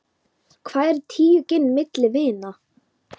Hvað eru tíu gin milli vina.